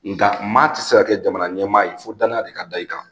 Nga maa ti se kɛ jamana ɲɛmaa ye, fo danaya de ka d'i kan.